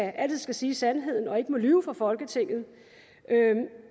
altid skal sige sandheden og ikke må lyve for folketinget